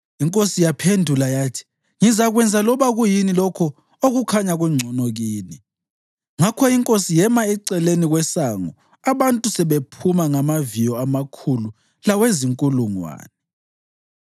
Inkosi yaphendula yathi, “Ngizakwenza loba kuyini lokho okukhanya kungcono kini.” Ngakho inkosi yema eceleni kwesango abantu sebephuma ngamaviyo amakhulu lawezinkulungwane.